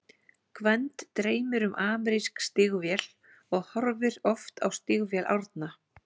Gvend dreymir um amerísk stígvél og horfir oft á stígvél Árna.